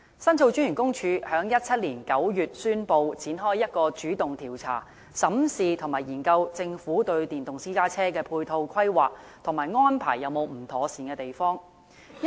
申訴專員公署在2017年9月宣布展開一項主動調查，審視和研究政府對電動私家車的配套規劃，以及安排是否有不妥善之處。